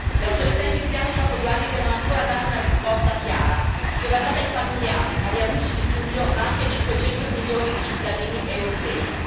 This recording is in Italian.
Le autorità egiziane dopo due anni devono ancora dare una risposta chiara, che va data ai familiari, agli amici di Giulio, ma anche a 500 milioni di cittadini europei.